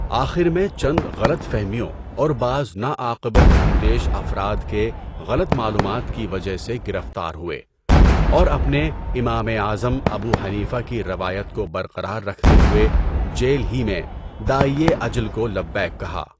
آخر میں چند غلط فہمیوں اور بعض ناعاقبت اندیش افراد کے غلط معلومات کی وجہ سے گرفتار ہوئے اور اپنے امامِ اعظم ابو حنیفہ کی روایت کو برقرار رکھتے ہوئے جیل ہی میں داعیِ اجل کو لبیک کہا۔